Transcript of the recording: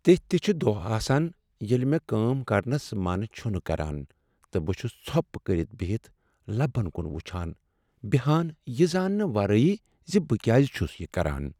تِتھۍ تہِ چھِ دۄہ آسان ییلہِ مے٘ كٲم كرنس من چھُنہٕ كران تہٕ بہٕ چھُس ژھوپہٕ كرِتھ بِہِتھ لبن كُن وُچھان بیہان یہِ زاننہٕ ورٲیی زِ بہٕ كیازِ چھُس یہِ كران ۔